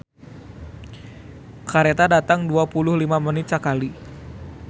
"Kareta datang dua puluh lima menit sakali"